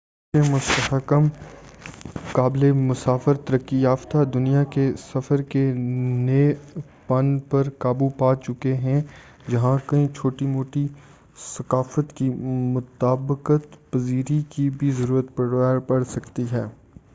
بہت سے مستحکم قابل مسافر ترقی یافتہ دنیا کے سفر کے نئے پن پر قابو پا چکے ہیں جہاں کئی چھوٹی موٹی ثقافت کی مطابقت پذیری کی بھی ضرورت پڑسکتی ہے